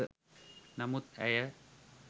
නමුත් ඇය